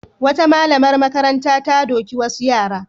Wata malamar makaranta ta doki wasu yara.